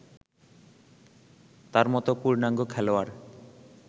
তার মতো পূর্ণাঙ্গ খেলোয়াড়